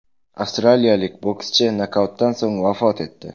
Avstraliyalik bokschi nokautdan so‘ng vafot etdi.